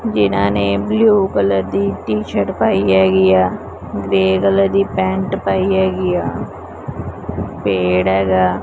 ਜਿਨਾਂ ਨੇ blue colour ਦੀ ਟੀ ਸ਼ਰਟ ਪਾਈ ਹੈਗੀ ਆ ਗਰੇ ਕਲਰ ਦੀ ਪੈਂਟ ਪਾਈ ਹੈਗੀ ਆ ਪੇੜ ਹੈਗਾ।